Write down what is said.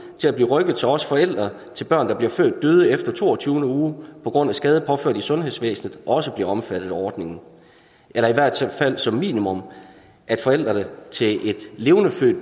til også forældre til børn der bliver født døde efter toogtyvende uge på grund af skade påført i sundhedsvæsenet også bliver omfattet af ordningen eller i hvert tilfælde som minimum at forældrene til et levendefødt